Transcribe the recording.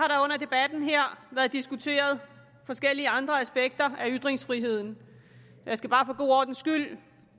debatten her været diskuteret forskellige andre aspekter af ytringsfriheden jeg skal bare for god ordens skyld